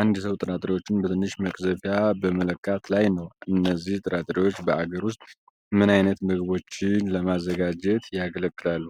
አንድ ሰው ጥራጥሬዎቹን በትንሽ መቅዘፊያ በመለካት ላይ ነው። እነዚህ ጥራጥሬዎች በአገር ውስጥ ምን ዓይነት ምግቦችን ለማዘጋጀት ያገለግላሉ?